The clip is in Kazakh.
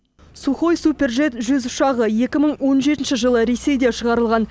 сухой суперджет жүз ұшағы екі мың он жетінші жылы ресейде шығарылған